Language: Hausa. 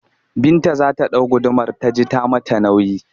Binta za ta ɗau gudumar ta ji ta yi mata nauyi